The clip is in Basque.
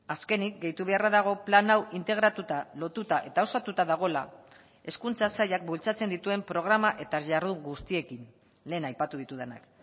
azkenik gehitu beharra dago plan hau integratuta lotuta eta osatuta dagoela hezkuntza sailak bultzatzen dituen programa eta jardun guztiekin lehen aipatu ditudanak